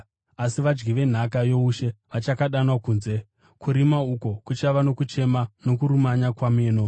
Asi vadyi venhaka youshe vachakandwa kunze, kurima uko kuchava nokuchema nokurumanya kwameno.”